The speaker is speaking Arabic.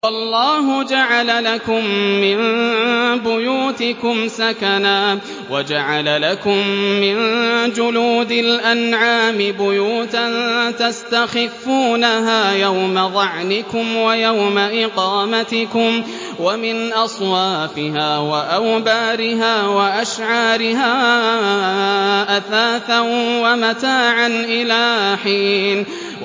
وَاللَّهُ جَعَلَ لَكُم مِّن بُيُوتِكُمْ سَكَنًا وَجَعَلَ لَكُم مِّن جُلُودِ الْأَنْعَامِ بُيُوتًا تَسْتَخِفُّونَهَا يَوْمَ ظَعْنِكُمْ وَيَوْمَ إِقَامَتِكُمْ ۙ وَمِنْ أَصْوَافِهَا وَأَوْبَارِهَا وَأَشْعَارِهَا أَثَاثًا وَمَتَاعًا إِلَىٰ حِينٍ